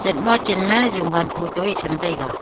chasma chenma jungwan photo ye cham taiga.